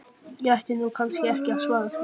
Ég ætti nú kannski ekki að svara því.